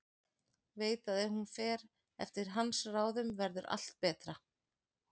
Veit að ef hún fer eftir hans ráðum verður allt betra.